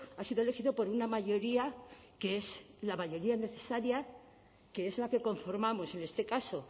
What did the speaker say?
ha sido elegido por una mayoría que es la mayoría necesaria que es la que conformamos en este caso